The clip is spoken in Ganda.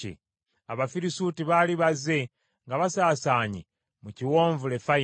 Abafirisuuti baali bazze nga basaasaanye mu kiwonvu Lefayimu.